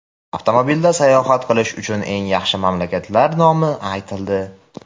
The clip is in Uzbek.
Avtomobilda sayohat qilish uchun eng yaxshi mamlakatlar nomi aytildi.